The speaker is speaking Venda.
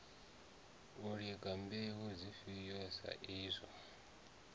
lingwa mbeu dzifhio sa izwo